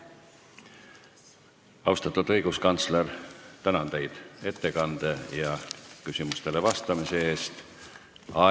Austatud õiguskantsler, tänan teid ettekande ja küsimustele vastamise eest!